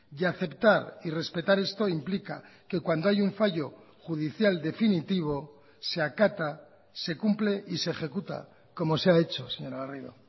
y aceptar y respetar esto implica que cuando hay un fallo judicial definitivo se acata se cumple y se ejecuta como se ha hecho señora garrido